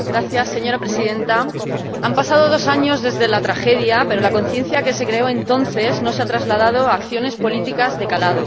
Señora Presidenta, han pasado dos años desde la tragedia, pero la conciencia que se creó entonces no se ha trasladado a acciones políticas de calado.